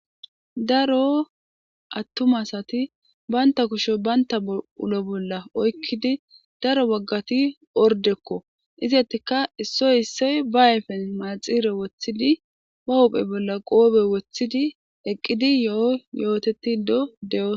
daro attum asati baynta kusho baynta ulo bolla oykkidi daro waggati ordekko izattika issoy issoy ba ayfen maaxire woththidi ba hophe bolla qoobe woththidi eqqidi yo7o yooteti do de7oos